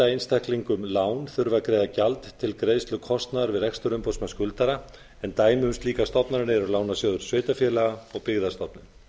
einstaklingum lán þurfi að greiða gjald til greiðslu kostnaðar við rekstur umboðsmanns skuldara en dæmi um slíkar stofnanir eru lánasjóður sveitarfélaga og byggðastofnun